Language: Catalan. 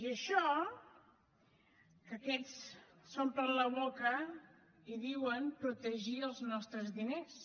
i això que aquests s’omplen la boca i diuen que protegeixen els nostres diners